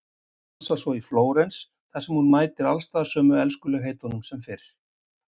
Stansar svo í Flórens þar sem hún mætir alls staðar sömu elskulegheitunum sem fyrr.